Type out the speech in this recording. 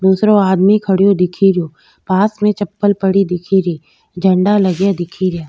दूसरो आदमी खड़यो दिखेरो पास में चप्पल पड़ी दिखेरी झंडा लगा दिखे रिया।